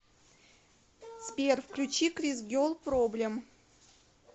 сбер включи крис гел проблем